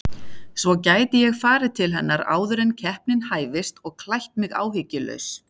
Svo gæti ég farið til hennar áður en keppnin hæfist og klætt mig áhyggjulaus.